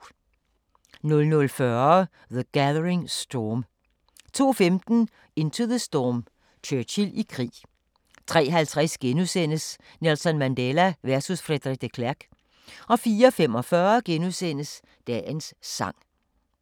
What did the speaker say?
00:40: The Gathering Storm 02:15: Into the Storm – Churchill i krig 03:50: Nelson Mandela versus Frederik de Klerk * 04:45: Dagens Sang *